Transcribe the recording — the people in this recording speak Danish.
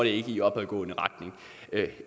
ikke i opadgående retning